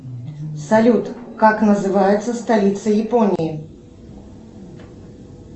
салют как называется столица японии